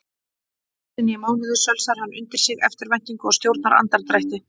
Einusinni í mánuði sölsar hann undir sig eftirvæntingu og stjórnar andardrætti.